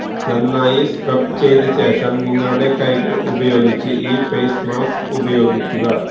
നന്നായി സ്ക്രബ് ചെയ്ത ശേഷം നിങ്ങളുടെ കൈകള് ഉപയോഗിച്ച് ഈ ഫെയ്സ് മാസ്ക് പ്രയോഗിക്കുക